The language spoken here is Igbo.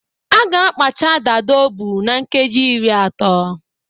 A ga akpacha dada ọbụ na nkeji iri atọ